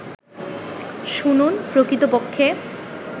শুনুন, প্রকৃতপক্ষে